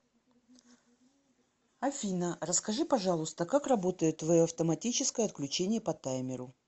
афина расскажи пожалуйста как работает твое автоматическое отключение по таймеру